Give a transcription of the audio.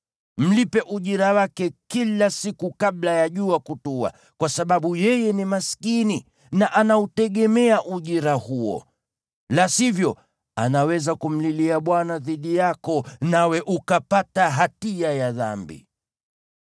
Mlipe ujira wake kila siku kabla ya jua kutua, kwa sababu yeye ni maskini na anautegemea ujira huo. La sivyo, anaweza kumlilia Bwana dhidi yako, nawe ukapata hatia ya dhambi.